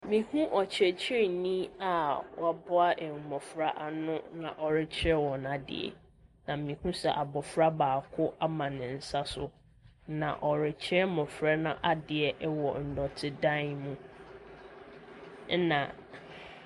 Mehu ɔkyerɛkyerɛni a waboa mmɔfra ano na ɔrekyerɛ wɔn adeɛ, na mehu sɛ abɔfra baako ama ne nsa so, na ɔrekyerɛ mmɔfra no adeɛ wɔ nnɔtedan mu, ɛnna .